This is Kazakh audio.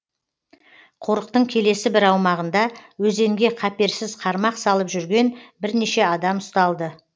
қорықтың келесі бір аумағында өзенге қаперсіз қармақ салып жүрген бірнеше адам ұсталды